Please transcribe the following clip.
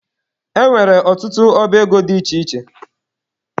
E nwere ọtụtụ ọba ego dị iche iche.